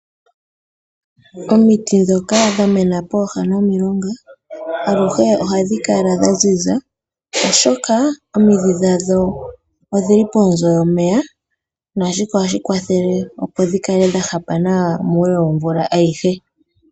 Omiti dhoka dha mena pooha nomilonga, aluhe ohadhi kala dha ziza, oshoka omidhi dhadho odhili pponzo dhomeya, nashika ohashi kwathele opo dhi kale dha hapa nawa muule womvula ayihe.